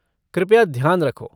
कृपया ध्यान रखो।